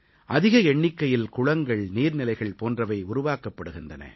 அதிக எண்ணிக்கையில் குளங்கள் நீர்நிலைகள் போன்றவை உருவாக்கப்பட்டிருக்கின்றன